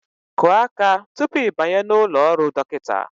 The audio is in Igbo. Kụọ aka tupu ị banye n'ụlọ ọrụ dọkịta!